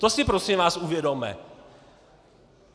To si prosím vás uvědomme.